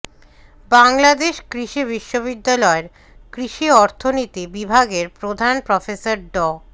বাংলাদেশ কৃষি বিশ্ববিদ্যালয়ের কৃষি অর্থনীতি বিভাগের প্রধান প্রফেসর ড